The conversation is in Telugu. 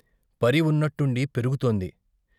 పరి ఉన్న ట్టుండి పెరుగుతోంది.